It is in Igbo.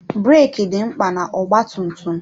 Breki dị mkpa na ọgba tum tum.